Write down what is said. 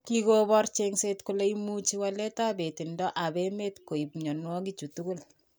Kikopor chengset kole imuchi walet ab itonet ab emet koib mnyanwek chutok